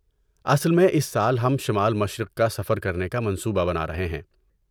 اصل میں، اس سال ہم شمال مشرق کا سفر کرنے کا منصوبہ بنا رہے ہیں۔